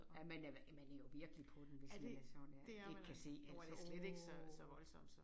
Ja man er man er jo virkelig på den hvis man er sådan ja ikke kan se altså åh